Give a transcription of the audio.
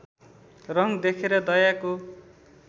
रङ देखेर दयाको